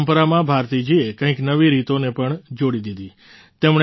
આ પરંપારમાં ભારતીજીએ કંઈક નવી રીતોને પણ જોડી દીધી